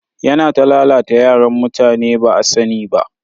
Yana ta lalata yaran mutane ba a sani ba